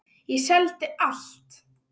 Ég seldi allt.